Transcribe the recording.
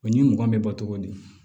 O ɲi mugan bɛ bɔ cogo di